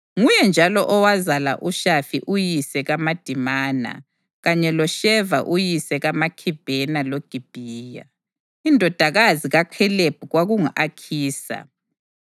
Nguye njalo owazala uShafi uyise kaMadimana kanye loSheva uyise kaMakhibhena loGibhiya. Indodakazi kaKhalebi kwakungu-Akhisa.